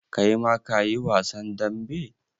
Kai ma ka yi wasan dambe?